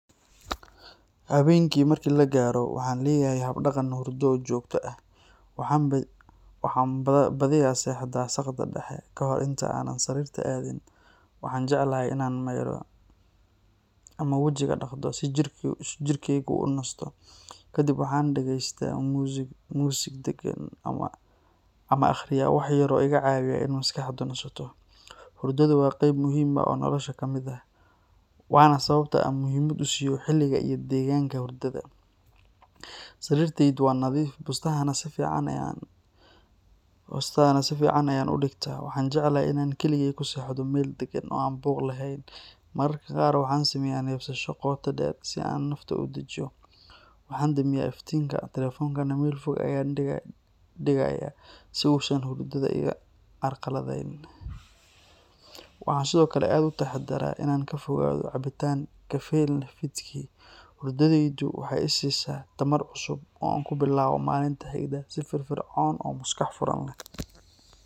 Habeenkii marka la gaaro, waxaan leeyahay hab-dhaqan hurdo oo joogto ah. Waxaan badiyaa seexdaa saqda dhexe, ka hor inta aanan sariirta aadin waxaan jeclahay in aan maydho ama wajiga dhaqdo si jirkeygu u nasto. Kadib waxaan dhagaysaa muusig deggan ama akhriyaa wax yar oo iga caawiya in maskaxdu nasato. Hurdadu waa qayb muhiim ah oo noloshayda ka mid ah, waana sababta aan muhiimad u siiyo xilliga iyo deegaanka hurdada. Sariirtaydu waa nadiif, bustahana si fiican ayaan u dhigtaa. Waxaan jeclahay in aan keligay ku seexdo meel deggan oo aan buuq lahayn. Mararka qaar waxaan sameeyaa neefsasho qoto dheer si aan nafta u dejiyo. Waxaan damiyaa iftiinka, telefoonkana meel fog ayaan dhigayaa si uusan hurdada ii carqaladeyn. Waxaan sidoo kale aad u taxaddaraa in aan ka fogaado cabitaan kafeyn leh fiidkii. Hurdadaydu waxay i siisaa tamar cusub oo aan ku bilaabo maalinta xigta si firfircoon oo maskax furan leh.